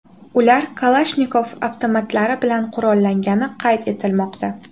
Ular Kalashnikov avtomatlari bilan qurollangani qayd etilmoqda.